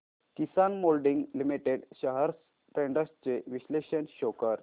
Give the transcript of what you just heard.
किसान moulding limited shares trends चे विश्लेषण show कर